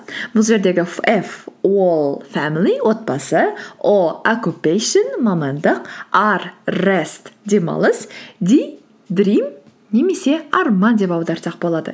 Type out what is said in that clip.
бұл жердегі ф ол фэмили отбасы о оккупейшн мамандық ар рест демалыс ди дрим немесе арман деп аударсақ болады